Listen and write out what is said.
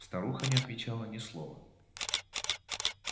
старуха не отвечала ни слова